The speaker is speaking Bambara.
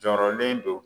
Jɔrɔlen don